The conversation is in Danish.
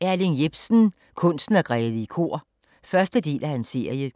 Jepsen, Erling: Kunsten at græde i kor 1. del af serie.